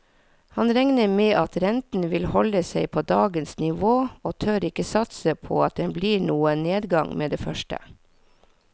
Han regner med at renten vil holde seg på dagens nivå og tør ikke satse på at det blir noen nedgang med det første.